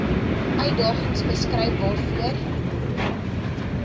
uitdagings beskryf waarvoor